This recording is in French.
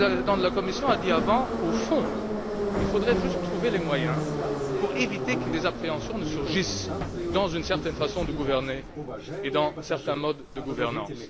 le président de la Commission a dit Au fond, il faudrait juste trouver les moyens pour éviter que des appréhensions ne surgissent quant à une certaine façon de gouverner et à certains modes de gouvernance.